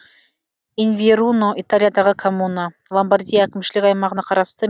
инверуно италиядағы коммуна ломбардия әкімшілік аймағына қарасты